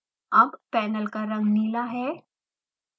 अब पेनल का रंग नीला है